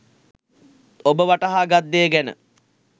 ඔබ වටහා ගත් දෙය ගැන